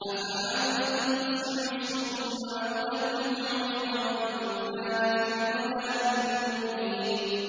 أَفَأَنتَ تُسْمِعُ الصُّمَّ أَوْ تَهْدِي الْعُمْيَ وَمَن كَانَ فِي ضَلَالٍ مُّبِينٍ